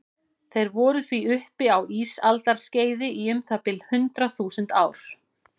Þeir voru því uppi á ísaldarskeiði í um það bil hundrað þúsund ár.